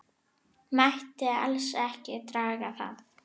Mætti alls ekki draga það.